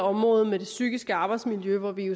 området med det psykiske arbejdsmiljø hvor vi